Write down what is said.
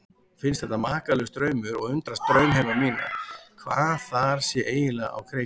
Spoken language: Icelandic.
Finnst þetta makalaus draumur og undrast draumheima mína, hvað þar sé eiginlega á kreiki.